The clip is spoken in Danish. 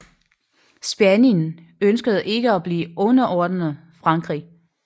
Spanien ønskede ikke at blive underordnet Frankrig